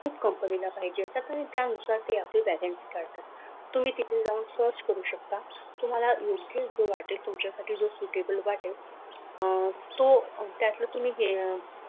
तू company ला पाहिजे तो सही त्यानुसार ते आपले vacancy काढतात तुम्ही तिथे जाऊन search करू शकतात तुम्हाला योग्य वाटते तुमच्यासाठी जोशी टेबल वाटेल तो त्यातलं तुम्ही